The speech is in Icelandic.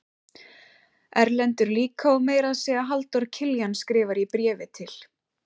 Erlendur líka og meira að segja Halldór Kiljan skrifar í bréfi til